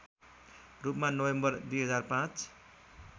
रूपमा नोभेम्बर २००५